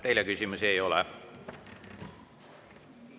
Teile küsimusi ei ole.